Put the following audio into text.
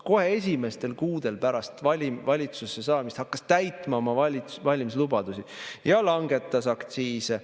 Kohe esimestel kuudel pärast valitsusse saamist hakkas ta täitma oma valimislubadusi ja langetas aktsiise.